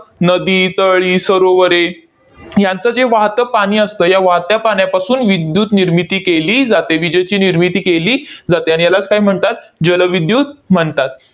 नदी, तळी, सरोवरे यांचं जे वाहतं पाणी असतं, या वाहत्या पाण्यापासून विद्युतनिर्मिती केली जाते, विजेची निर्मिती केली जाते. आणि ह्यालाच काय म्हणतात? जलविद्युत म्हणतात.